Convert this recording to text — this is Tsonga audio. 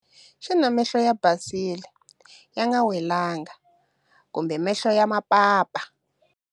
Xana mahlo ya basile, ya nga welangi, kumbe mahlo ya mapapa?